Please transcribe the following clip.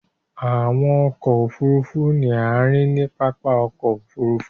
Àwọn ọkọ òfurufú ní a ríi ní pápá ọkọ̀ òfurufú.